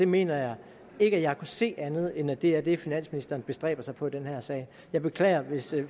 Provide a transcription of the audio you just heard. mener ikke jeg kan se andet end at det er det finansministeren bestræber sig på i den her sag jeg beklager hvis